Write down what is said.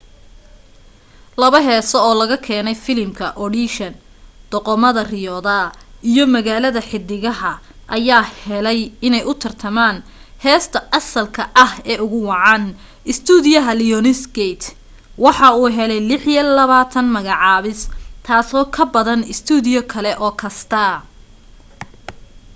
laba heesoo oo laga keenay filimka audition doqomada riyooda iyo magaalada xiddigaha ayaa helay inay u tartamaan heesta asalka ah ee ugu wacan. istuudiyaha lionsgate waxa uu helay 26 magacaabiseed - taasoo ka badan istuudiye kale oo kasta